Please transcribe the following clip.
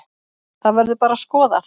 Það verður bara skoðað.